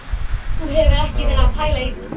Þú hefur ekki verið að pæla í því?